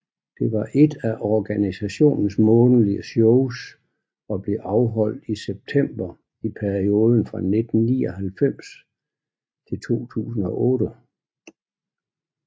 Det var ét af organisationens månedlige shows og blev afholdt i september i perioden fra 1999 til 2008